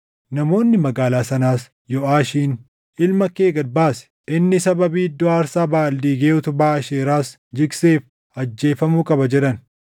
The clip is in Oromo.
Namoonni magaalaa sanaas Yooʼaashiin, “Ilma kee gad baasi. Inni sababii iddoo aarsaa Baʼaal diigee utubaa Aasheeraas jigseef ajjeefamuu qaba” jedhan.